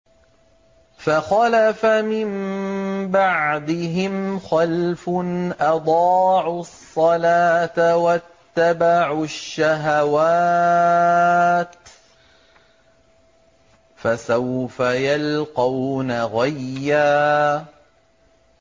۞ فَخَلَفَ مِن بَعْدِهِمْ خَلْفٌ أَضَاعُوا الصَّلَاةَ وَاتَّبَعُوا الشَّهَوَاتِ ۖ فَسَوْفَ يَلْقَوْنَ غَيًّا